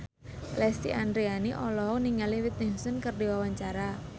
Lesti Andryani olohok ningali Whitney Houston keur diwawancara